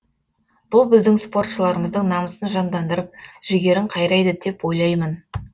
бұл біздің спортшыларымыздың намысын жандандырып жігерін қайрайды деп ойлаймын